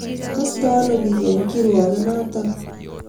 Kaastooi ano piik eng' kirwoogenotok?